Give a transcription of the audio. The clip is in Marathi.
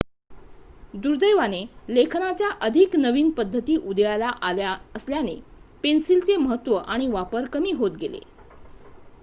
दुर्दैवाने लेखनाच्या अधिक नवीन पद्धती उदयाला आल्या असल्याने पेन्सिलचे महत्व आणि वापर कमी होत गेले